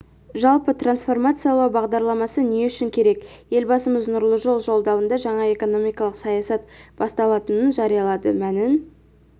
жалпы трансформациялау бағдарламасы не үшін керек елбасымыз нұрлы жол жолдауында жаңа экономикалық саясат басталатынын жариялады мәнін